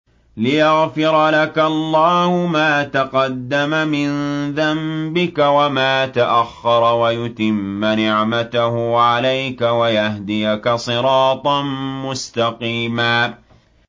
لِّيَغْفِرَ لَكَ اللَّهُ مَا تَقَدَّمَ مِن ذَنبِكَ وَمَا تَأَخَّرَ وَيُتِمَّ نِعْمَتَهُ عَلَيْكَ وَيَهْدِيَكَ صِرَاطًا مُّسْتَقِيمًا